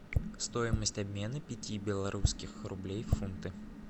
стоимость обмена пяти белорусских рублей в фунты